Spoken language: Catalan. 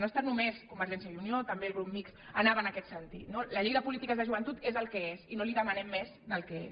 no ha estat només convergència i unió també el grup mixt anava en aquest sentit no la llei de polítiques de joventut és el que és i no li demanem més del que és